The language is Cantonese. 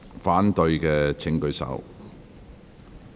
反對的請舉手。